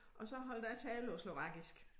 Og så holdt jeg tale på slovakisk